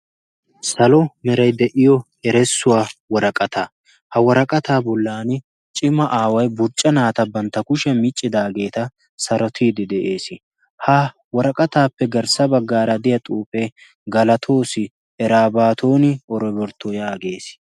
salo merai de7iyo eressuwaa waraqata ha waraqataa bollan cima aawai burcca naata bantta kushiyaa miccidaageeta sarotiidi de7ees. ha waraqataappe garssa baggaaradiya xuufee galatoosi erabaatoni orobortto yaagees.